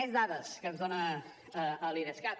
més dades que ens dona l’idescat